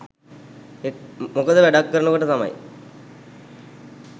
මොකද වැඩක් කරන කොට තමයි